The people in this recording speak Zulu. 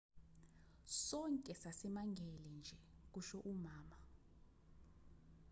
sonke sasimangele nje kusho umama